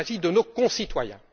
il s'agit de nos concitoyens.